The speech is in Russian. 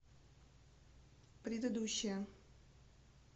предыдущая